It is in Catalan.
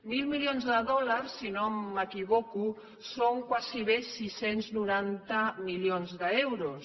mil milions de dòlars si no m’equivoco són gairebé sis cents i noranta milions d’euros